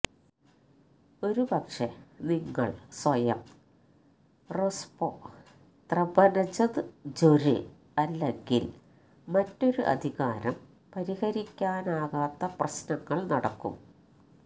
ഒരു പക്ഷേ നിങ്ങൾ സ്വയം രൊസ്പൊത്രെബ്നദ്ജൊര് അല്ലെങ്കിൽ മറ്റൊരു അധികാരം പരിഹരിക്കാനാകാത്ത പ്രശ്നങ്ങൾ നടക്കും